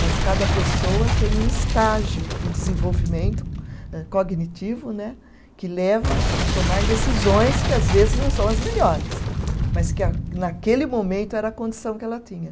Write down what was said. Mas cada pessoa tem um estágio de desenvolvimento cognitivo né, que leva a tomar decisões que às vezes não são as melhores, mas que a, naquele momento era a condição que ela tinha.